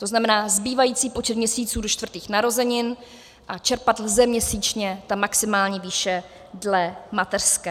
To znamená, zbývající počet měsíců do čtvrtých narozenin a čerpat lze měsíčně ta maximální výše dle mateřské.